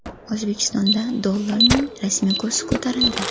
O‘zbekistonda dollarning rasmiy kursi ko‘tarildi.